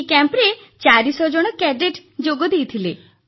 ଏହି କ୍ୟାମ୍ପରେ 400 ଜଣ କ୍ୟାଡେଟ ଯୋଗଦେଇଥିଲେ